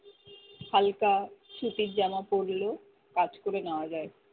হালকা সুতির জামা পড়লেও